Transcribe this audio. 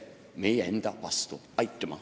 Aitüma!